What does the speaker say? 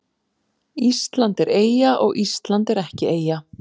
Ísland er eyja og Ísland er ekki eyja